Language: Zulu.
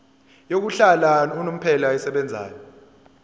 yokuhlala unomphela esebenzayo